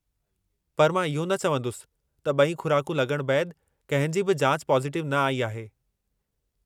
पर मां इहो न चवंदुसि त ॿई खु़राकूं लॻण बैदि कंहिं जी बि जाच पॉजिटिव न आई आहे।